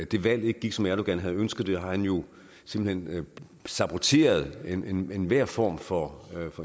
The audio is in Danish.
det valg ikke gik som erdogan havde ønsket det har han jo simpelt hen saboteret enhver form for